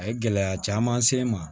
A ye gɛlɛya caman se n ma